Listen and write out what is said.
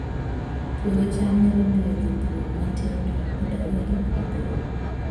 Puodho cham nyalo miyo jopur matindo odag e ngima maber